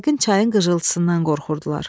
Yəqin çayın qıcıltısından qorxurdular.